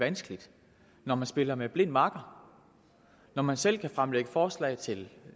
vanskeligt når man spiller med blind makker når man selv kan fremsætte forslag til